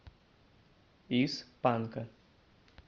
из панка